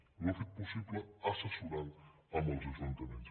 i ho ha fet possible assessorant los amb els ajuntaments